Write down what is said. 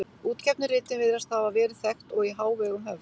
Útgefnu ritin virðast hafa verið þekkt og í hávegum höfð.